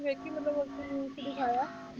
ਵੇਖੀ ਮਤਲਬ ਉਹ 'ਚ news 'ਚ ਦਿਖਾਇਆ